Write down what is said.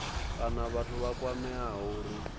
kana vhathu vha kwameaho uri